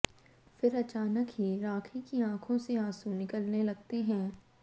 फिर अचाानक ही राखी की आंखों से आंसू निकलने लगते हैं